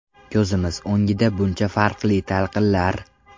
Ko‘zimiz o‘ngida buncha farqli talqinlar!